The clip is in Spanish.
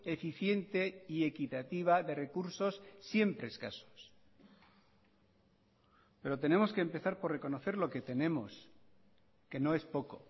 eficiente y equitativa de recursos siempre escasos pero tenemos que empezar por reconocer lo que tenemos que no es poco